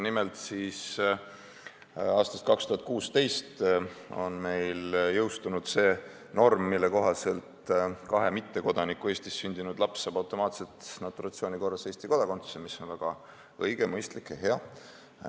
Nimelt, aastast 2016 on meil kehtinud norm, mille kohaselt kahe mittekodaniku Eestis sündinud laps saab automaatselt naturalisatsiooni korras Eesti kodakondsuse, mis on väga õige, mõistlik ja hea.